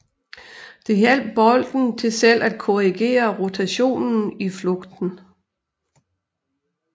Det hjalp bolden til selv at korrigere rotationen i flugten